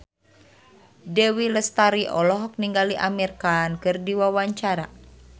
Dewi Lestari olohok ningali Amir Khan keur diwawancara